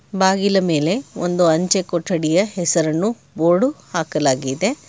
ಬಾಗಿಲ ಮೇಲೆ ಒಂದು ಅಂಚೆ ಕೊಠಡಿಯ ಹೆಸರನ್ನು ಬೋರ್ಡು ಹಾಕಲಾಗಿದೆ.